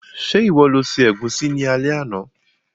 Se ìwo lo se ẹ̀gúsí ni alé àná?